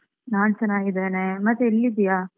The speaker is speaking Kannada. ನಾನ್ ಚನ್ನಗಿದ್ದೇನೆ ಮತ್ತ್ ಎಲ್ಲಿದ್ಯಾ?